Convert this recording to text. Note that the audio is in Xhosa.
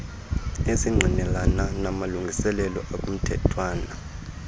esingqinelana namalungiselelo akumthethwana